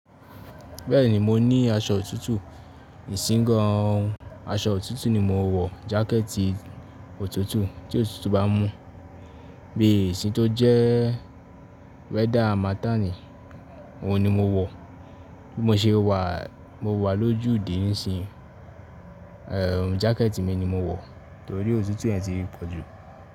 Bẹ́ẹ̀ni mo ní aṣọ òtútù, ìsingan aṣọ òtútù ni mo wọ jákẹ̀tì òtútù tí òtútù bá mú bí ìsìn tó jẹ́ weather harmattan òun ni mo wọ, bí mo ṣe wà mo wà lójú dé nísin ín, ehn jákẹ̀tì mi ni mo ń wọ torí òtútù yẹn ti pọ̀ jù.